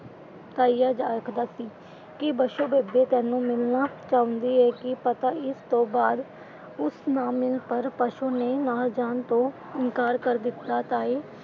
ਤਾਇਆ ਆਖਦਾ ਸੀ ਕਿ ਬਸੋ, ਬੇਬੇ ਤੈਨੂੰ ਮਿਲਣਾ ਚਾਹੁੰਦੀ ਏ। ਕੀ ਪਤਾ ਇਸ ਤੋਂ ਬਾਅਦ ਉਸ ਨਾ ਮਿਲ ਪਾਏ ਪਰ ਬਸੋ ਨੇ ਨਾਲ ਜਾਣ ਤੋਂ ਇਨਕਾਰ ਕਰ ਦਿੱਤਾ। ਤਾਏ,